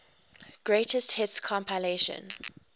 greatest hits compilation